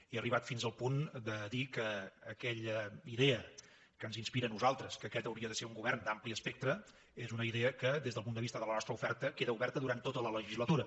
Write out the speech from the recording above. he arribat fins al punt de dir que aquella idea que ens inspira a nosaltres que aquest hauria de ser un govern d’ampli espectre és una idea que des del punt de vista de la nostra oferta queda oberta durant tota la legislatura